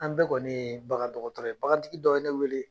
An bɛ kɔni ye bagadɔgɔtɔrɔ ye bagatigi dɔ ye ne wele